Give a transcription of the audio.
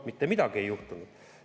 Mitte midagi ei juhtunud.